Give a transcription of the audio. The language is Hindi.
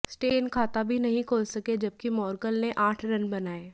स्टेन खाता भी नहीं खोल सके जबकि मोर्कल ने आठ रन बनाए